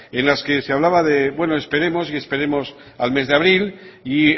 en las que se hablaba de bueno esperemos al mes de abril y